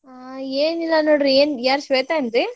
ಹಾ ಏನಿಲ್ಲಾ ನೋಡ್ರಿ ಏನ್ ಯಾರ್ ಶ್ವೇತಾ ಏನ್ರಿ?